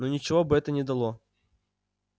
но ничего бы это не дало